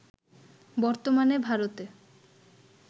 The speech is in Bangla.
বর্তমানে ভারতে